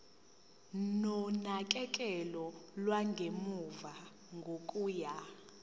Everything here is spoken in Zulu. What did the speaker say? nonakekelo lwangemuva kokuya